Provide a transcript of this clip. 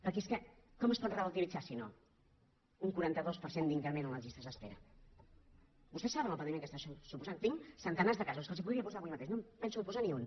perquè és que com es pot relativitzar si no un quaranta dos per cent d’increment a les llistes d’espera vostès saben el patiment que està això suposant tinc centenar de casos que els podria posar avui mateix no en penso posar ni un